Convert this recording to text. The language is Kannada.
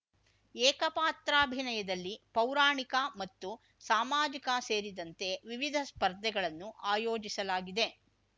ಏಕಪಾತ್ರಾಭಿನಯದಲ್ಲಿ ಪೌರಾಣಿಕ ಮತ್ತು ಸಾಮಾಜಿಕ ಸೇರಿದಂತೆ ವಿವಿಧ ಸ್ಪರ್ಧೆಗಳನ್ನು ಆಯೋಜಿಸಲಾಗಿದೆ